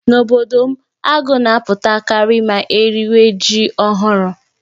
N'obodo m, agụ́ na-apụtakarị ma eriwa ji ọhụrụ.